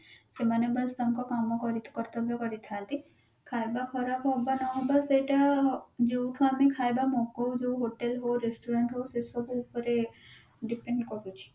ସେମାନେ ବସ ତାଙ୍କ କାମ କରିକି କର୍ତ୍ୟବ କରିଥାନ୍ତି ଖାଇବା ଖରାପ ହବା ନ ହବା ସେଟା ଯୋଉଠୁ ଆମେ ଖାଇବା ମଗୋଉ ଯୋଉ hotel ହଉ restaurant ହଉ ସେ ସବୁ ଉପରେ depend କରୁଛି